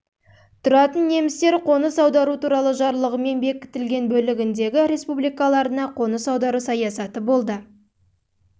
тұратын немістер қоныс аудару туралы жарлығымен бекітілді бөлігіндегі республикаларына қоныс аудару саясаты болды